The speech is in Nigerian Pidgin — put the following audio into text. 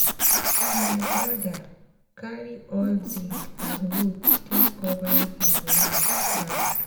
my broda carry old zinc and wood take cover him land round